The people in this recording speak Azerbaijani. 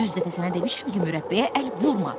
Yüz dəfə sənə demişəm ki, mürəbbəyə əl vurma.